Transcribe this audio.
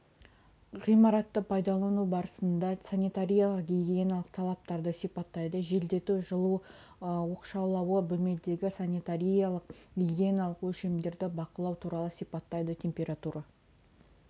ғимаратты пайдалану барысында санитариялық-гигиеналық талаптарды сипаттайды желдету жылу оқшаулауы бөлмедегі санитариялық-гигиеналық өлшемдерді бақылау туралы сипаттайды температура